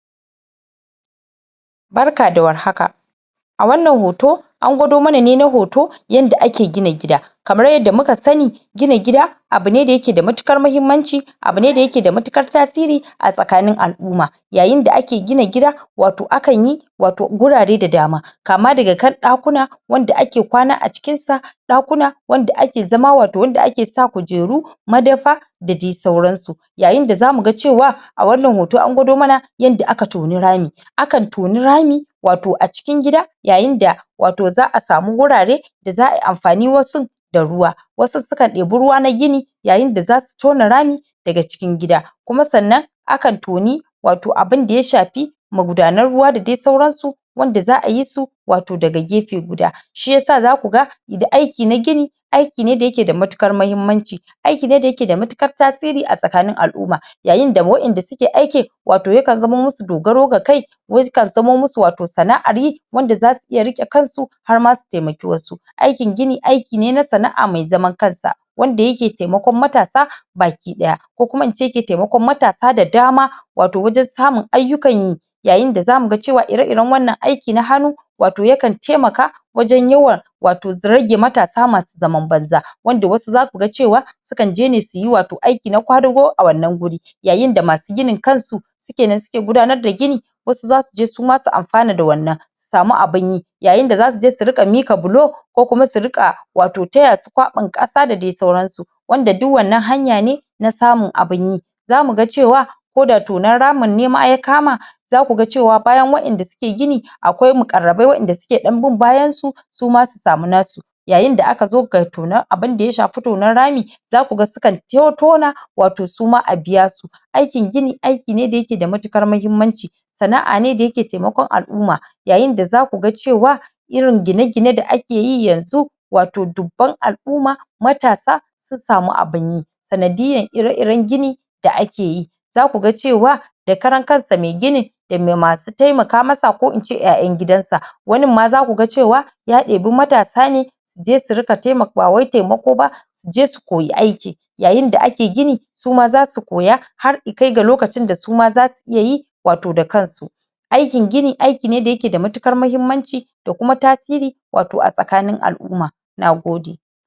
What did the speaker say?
Barka da war haka a wannan hoto an gwado mana ne na hoto yanda ake gina gida kamar yadda muka sani gina gida abune da yake da matuƙar mahimmanci abune da yake da matuƙar tasiri a tsakanin al'umma yayin da ake gina gida wato akanyi wato gurare da dama kama daga kan ɗakuna wanda ake kwana a cikin ta ɗakuna wanda ake zama wato wanda ake sa kujeru dad dai sauran su yayin da zamu ga cewa a wannan hoto an gwado mana yanda aka toni rami adkan toni rami wato a cikin gida yayin da wato za'a samu wurare za'ayi amfani wasun da ruwa wasu suka debo ruwa na gini yayin da zasu tona rami daga cikin gida kuma sannan akan toni wato abunda ya shafi magudanar ruwa da dai suran su wanda z'ayi su wato daga gefen gida shiyasa zaku ga da aiki na gini aiki ne da yake da matuƙar mahimmanci aiki ne dayake da matuƙar tasiri a tsakanin al'umma yayin da wa'en da suke aikin wato yakan zamo musu dogaro ga kai wasu yakan zamo musu wato sana'an yi wanda zasu iya rike kan su har ma su taimaki wasu aikin gini aiki ne na sana'a mai zaman kan sa wanda yake taimakon matasa baki daya ko kuma ince yake taimakon matasa da dama wato wajen samun aiyukan yi yayin da zamu ga cewa ire iren wa'ennan aiyuka na hannu wato yakan taimaka wajen yawan wato rage matasa masu zaman banza wanda wasu zasu ga cewa sukanje ne suyi wato aiki na ƙwadugo a wannan wuri yayin da masu ginin kan su su kenan suke gudanar da gini wasu zasuje suma su amfana da wannan su samu abunyi yayin da zasu je su ringa mika bulo ko kuma su ringa wato dai taya su ƙwabin kasa da sauran su wanda duk wannan hanya ne na samun abinyi zamu ga cewa ko da tonan rami ne ma ya kama zakuga cewa bayan wa'enda suke gini akwai muƙarramai wa'enda suke bin bayan su sum su samu na su yayin da aka zo abun da ya shi tonan rami zaku ga su kan tona wato su ma a biya su aikin gini aikine da yake da matuƙa mahimmanci sana'a ne da yake taimakon al'umma yayin da zaku ga cewa irin gine gine da akeyi yanzu wato dubban al'umma matasa sun samu abunyi sanadiyan ire iren gini da akeyi zaku ga cewa da karan kansa mai ginin da mai masu taimaka masa ko ince 'ya'yan gidan sa wanin ma zakuga cewa ya debi matasa ne suje su ringa ba wai taimako ba su je su koyi aiki yayin da ake gini su ma zasu koya har su kai ga lokacin da su ma suyi wato da kan su aikin gini aiki ne da yake da matukar mahimmanci da kuma tasiri wato a tsakanin al'umma nagode